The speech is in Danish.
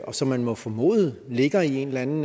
og som man må formode ligger i en eller anden